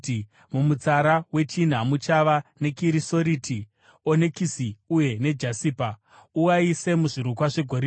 mumutsara wechina muchava nekirisoriti, onekisi uye nejasipa. Uaise muzvirukwa zvegoridhe.